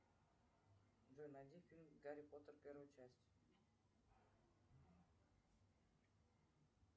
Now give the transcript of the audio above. джой найди фильм гарри поттер первая часть